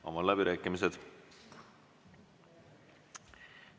Avan läbirääkimised.